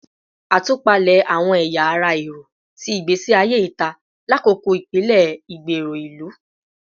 Atupalẹ awọn ẹya ara ẹrọ ti igbesi aye ita lakoko ipele igbero ilu